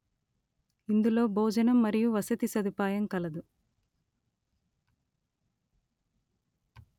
ఇందులో భోజనం మరియు వసతి సదుపాయం కలదు